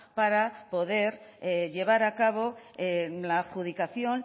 para poder llevar a cabo la adjudicación